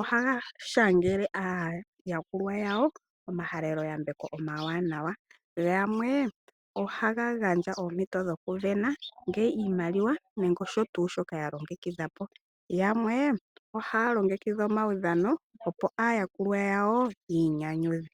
ohaga shangele aayakulwa yawo omahaleloyambeko omawanawa. Gamwe ohaga gandja oompito dhokusindana iimaliwa, nenge osho tuu shoka ya longekidha po. Yamwe ohaya longekidha omaudhano opo aayakulwa yawo ya inyanyudhe.